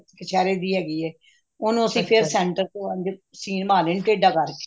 ਕਛੇਰੇ ਦੀ ਹੈਗੀ ਏ ਉਹਨੂੰ ਫ਼ੇਰ ਅਸੀਂ center ਚ ਸੀਨ ਮਾਰ ਲੈਣੀ ਟੇਢ਼ਾ ਕਰਕੇ